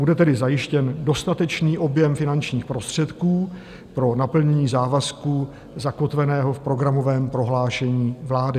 Bude tedy zajištěn dostatečný objem finančních prostředků pro naplnění závazku zakotveného v programovém prohlášení vlády.